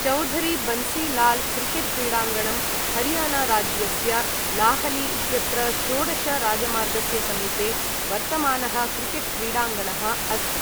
Chaudhary Bansi Lal cricket क्रीडाङ्गणं हरियाणाराज्यस्य लाहली इत्यत्र षोडश राजमार्गस्य समीपे वर्तमानः क्रिकेट् क्रीडाङ्गणः अस्ति।